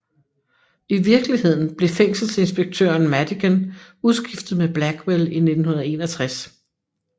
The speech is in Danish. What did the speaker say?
I virkeligheden blev fængselinspektøren Madigan udskiftet med Blackwell i 1961